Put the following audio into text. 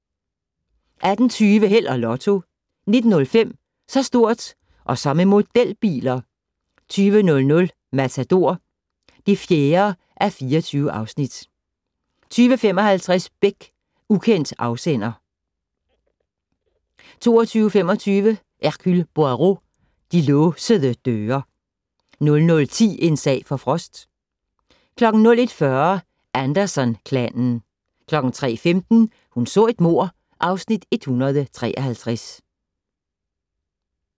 18:20: Held og Lotto 19:05: Så stort - og så med modelbiler 20:00: Matador (4:24) 20:55: Beck - Ukendt afsender 22:25: Hercule Poirot: De låsede døre 00:10: En sag for Frost 01:40: Anderson-klanen 03:15: Hun så et mord (Afs. 153)